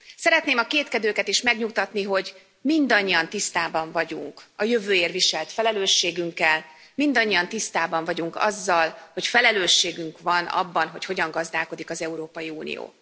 Szeretném a kétkedőket is megnyugtatni, hogy mindannyian tisztában vagyunk a jövőért viselt felelősségünkkel, mindannyian tisztában vagyunk azzal, hogy felelősségünk van abban, hogy hogyan gazdálkodik az Európai Unió.